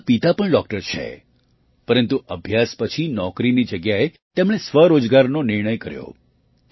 તેમના પિતા પણ ડૉક્ટર છે પરંતુ અભ્યાસ પછી નોકરીની જગ્યાએ તેમણે સ્વરોજગારનો નિર્ણય કર્યો